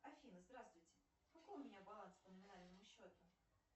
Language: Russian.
афина здравствуйте какой у меня баланс по номинальному счету